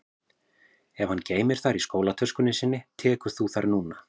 Ef hann geymir þær í skólatöskunni sinni tekur þú þær núna